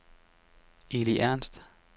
Eli Ernst